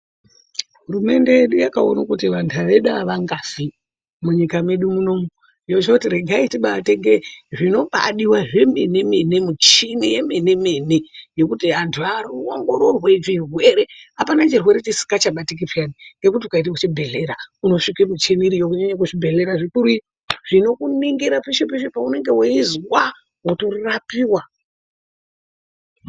Hurumende yedu yakaone kuti vanhu vedu havangafi munyika mwedu muno, yochoti regai tibaatenge zvinobaadiwa zvemenemene michini yemenemene, yekuti anhu aongororwe zvirwere apana chirwere chisikachabatiki peyani ngekuti ukaende kuchibhehleya unosvike michini iryo kunyanya zvibhehlera zvikuru iyo zvinokuningira peshe peshe paunonge weizwa wotorapiwa.